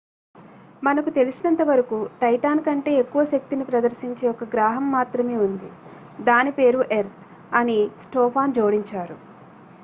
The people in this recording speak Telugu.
మనకు తెలిసినంతవరకు టైటాన్ కంటే ఎక్కువ శక్తిని ప్రదర్శించే ఒక గ్రాహం మాత్రమే ఉంది దాని పేరు ఎర్త్ అని స్టోఫాన్ జోడించారు